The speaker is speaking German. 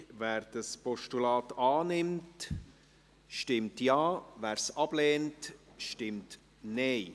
Wer das Postulat annimmt, stimmt Ja, wer es ablehnt, stimmt Nein.